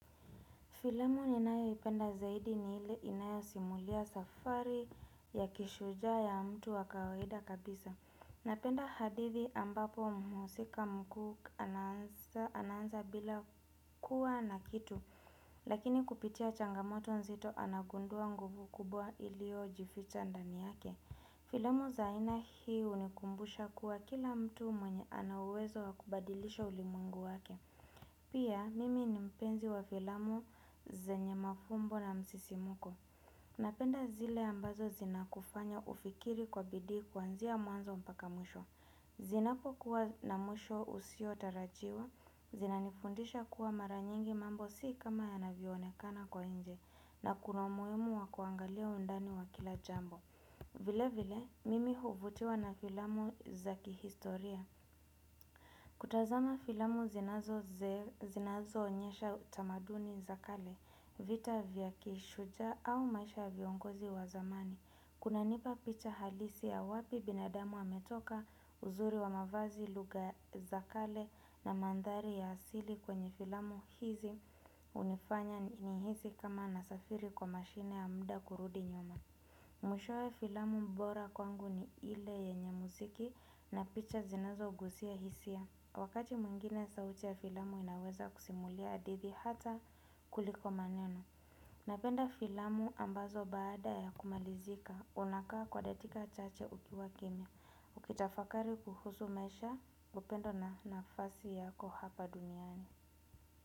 Filamu ninayoipenda zaidi ni ile inayosimulia safari ya kishujaa ya mtu wa kawahida kabisa. Napenda hadithi ambapo muhusika mkuu anaanza bila kuwa na kitu. Lakini kupitia changamoto nzito anagundua nguvu kubwa iliyojificha ndani yake. Filamu za aina hii hunikumbusha kuwa kila mtu mwenye ana uwezo wa kubadilisha ulimwengu wake. Pia, mimi ni mpenzi wa filamu zenye mafumbo na msisimuko. Napenda zile ambazo zinakufanya ufikiri kwa bidii kuanzia mwanzo mpaka mwisho. Zinapokuwa na mwisho usiotarajiwa, zinanifundisha kuwa mara nyingi mambo si kama yanavyoonekana kwa nje, na kuna umuhimu wa kuangalia undani wa kila jambo. Vile vile, mimi huvutiwa na filamu za kihistoria. Kutazama filamu zinazoonyesha utamaduni za kale, vita vya kishujaa au maisha ya viongozi wa zamani. Kunanipa picha halisi ya wapi binadamu ametoka uzuri wa mavazi lugha za kale na mandhari ya asili kwenye filamu hizi hunifanya nihii kama nasafiri kwa mashine ya muda kurudi nyuma. Mwishoe filamu bora kwangu ni ile yenye muziki na picha zinazogusia hisia Wakati mwingine sauti ya filamu inaweza kusimulia hadithi hata kuliko maneno Napenda filamu ambazo baada ya kumalizika unakaa kwa datika chache ukiwa kimya Ukitafakari kuhusu maisha upendo na nafasi yako hapa duniani.